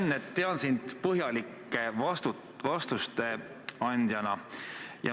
Hea Sven, ma tean sind põhjalike vastuste andjana.